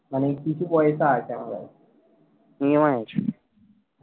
মানে কিছু পয়সা আছে আমার কাছে EMI আছে